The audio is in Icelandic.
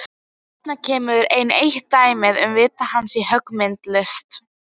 Þarna kemur enn eitt dæmið um vit hans á höggmyndalist.